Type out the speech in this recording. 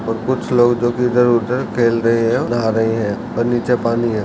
और कुछ लोग इधर-उधर टहल रहे हैं नहा रहे हैं और नीचे पानी है।